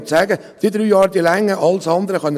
Es ist hier alles möglich;